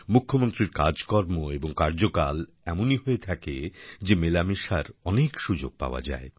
মুখ্যমন্ত্রীর কাজকর্ম এবং কার্যকাল এমনই হয়ে থাকে যে মেলামেশার অনেক সুযোগ পাওয়া যায়